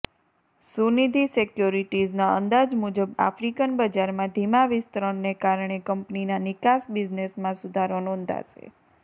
સુનિધિ સિક્યોરિટીઝના અંદાજ મુજબ આફ્રિકન બજારમાં ધીમા વિસ્તરણને કારણે કંપનીના નિકાસ બિઝનેસમાં સુધારો નોંધાશે